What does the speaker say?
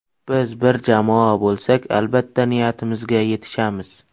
Biz bir jamoa bo‘lsak, albatta niyatimizga yetishamiz.